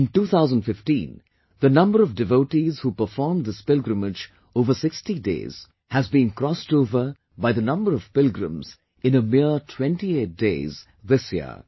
In 2015, the number of devotees who performed this pilgrimage over 60 days has been crossed over by the number of pilgrims in mere 28 days this year